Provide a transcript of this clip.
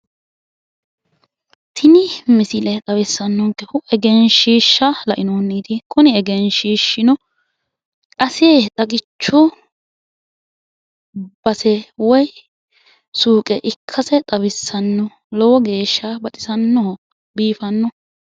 Tini misile xawissanonkehu egenshiishshu lainohunniiti kuni egenshiishiiino ase xagichu base woyi suuqe ikkase xawissanno lowo geeshsha baxisannoho biifannoho.